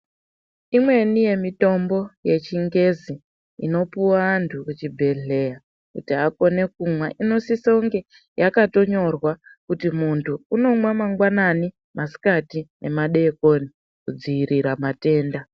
Imweni yemitombo yechingezi inopuwa antu kuchibhedhleya kuti akone kumwa inosise kunge yakatonyorwa kuti muntu unomwa mangwanani, masikati nemadeikoni kudziirira matenda.